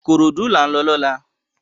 Ikorodu lá n lò lòlá